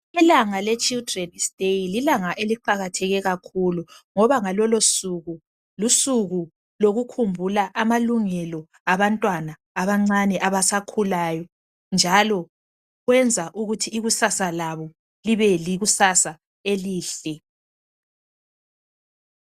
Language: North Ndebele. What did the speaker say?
Ilanga le children's day lilanga eliqakatheke kakhulu ngoba ngalolosuku lusuku lokukhumbula amalungelo abantwana abancane abasakhulayo njalo kwenza ukuthi ikusasa labo libe likusasa elihle.